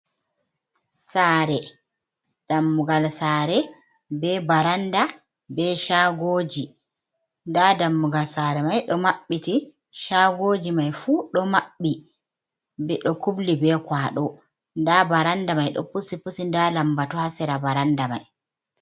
Sare dammugal sare be baranɗa be shagoji. Nda dammugal sare mai ɗo mabbiti. Shagoji mai fu do mabbi be ɗo kubli be kwaɗo. Nɗa baranɗa mai ɗo pusi-pusi. Nda lambatu ha sira baranɗa mai.